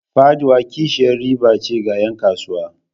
Faɗuwa kishiyar riba ce ga 'yan kasuwa.